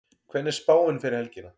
hvernig er spáin fyrir helgina